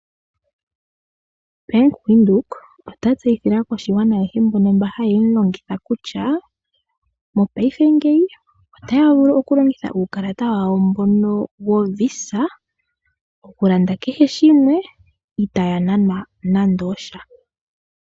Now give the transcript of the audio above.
Bank Windhoek ota tseyile aakwashigwana ayehe mbono haye mulongitha kutya mongaashingeyi otaya vulu okulongitha uukalata wawo mbono woVisa okulanda kehe shimwe itaya nanwa nando osha.